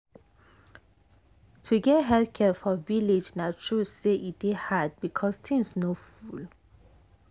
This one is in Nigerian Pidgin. to get health care for village na true say e dey hard because things no full.